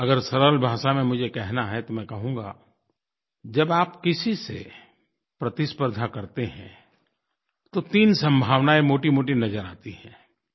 अगर सरल भाषा में मुझे कहना है तो मैं कहूँगा जब आप किसी से प्रतिस्पर्द्धा करते हैं तो तीन संभावनायें मोटीमोटी नज़र आती हैं